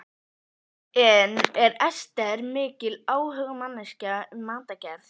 En er Ester mikil áhugamanneskja um matargerð?